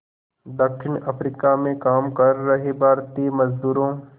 दक्षिण अफ्रीका में काम कर रहे भारतीय मज़दूरों